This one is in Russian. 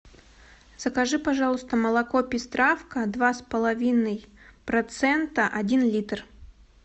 закажи пожалуйста молоко пестравка два с половиной процента один литр